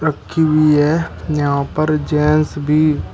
रखी हुई है यहां पर जेंट्स भी--